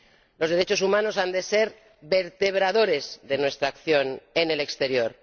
Los derechos humanos han de ser vertebradores de nuestra acción en el exterior.